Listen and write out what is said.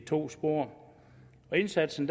to spor og indsatsen